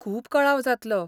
खूब कळाव जातलो.